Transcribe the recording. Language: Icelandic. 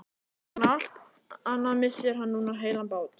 Ofan á allt annað missir hann núna heilan bát.